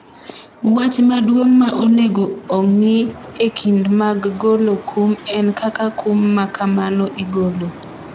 wach maduong' ma onego ong'I e kinde mag golo kum en kaka kum makamano igolo